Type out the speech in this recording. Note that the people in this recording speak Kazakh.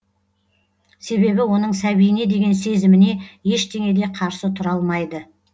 себебі оның сәбиіне деген сезіміне ештеңе де қарсы тұра алмайды